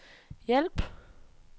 hjælp